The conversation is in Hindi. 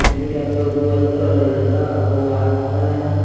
हैंडीकैप बॉय व लड़का वो आ रहा है।